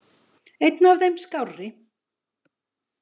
Einn af þeim skárri.